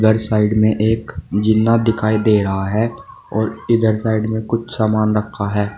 और सामने में एक जीना दिखाई दे रहा है और इधर साइड में कुछ सामान रखा है।